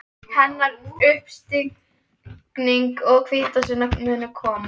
Hennar uppstigning og hvítasunna munu koma.